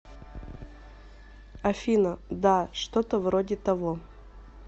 афина да что то вроде того